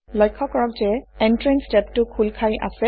লক্ষ্য কৰক যে Entranceটেবটো খোল খাই আছে